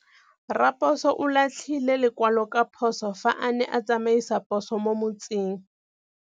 Raposo o latlhie lekwalô ka phosô fa a ne a tsamaisa poso mo motseng.